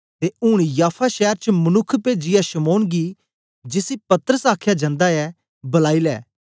ते ऊन याफा शैर च मनुक्ख पेजीयै शमौन गी जिसी पतरस आखया जंदा ऐ बलाई लै